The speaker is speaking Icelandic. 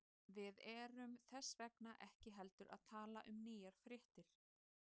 Við erum þess vegna ekki heldur að tala um nýjar fréttir.